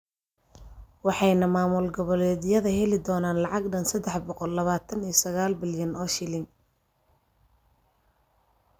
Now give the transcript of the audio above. Waxayna maamul goboleedyada heli doonaan lacag dhan sedax boqol labataan iyo sagal bilyan oo shilin.